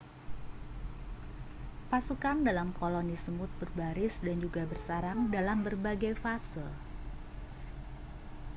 pasukan dalam koloni semut berbaris dan juga bersarang dalam berbagai fase